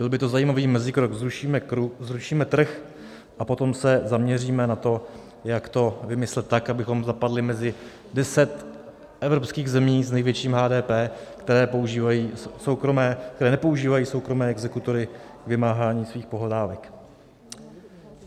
Byl by to zajímavý mezikrok - zrušíme trh a potom se zaměříme na to, jak to vymyslet tak, abychom zapadli mezi deset evropských zemí s největším HDP, které nepoužívají soukromé exekutory k vymáhání svých pohledávek.